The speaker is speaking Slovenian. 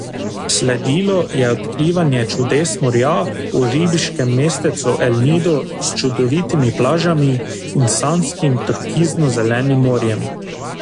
Sledilo je odkrivanje čudes morja v ribiškem mestecu El Nidu s čudovitimi plažami in sanjskim turkizno zelenim morjem.